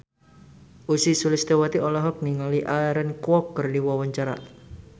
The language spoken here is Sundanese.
Ussy Sulistyawati olohok ningali Aaron Kwok keur diwawancara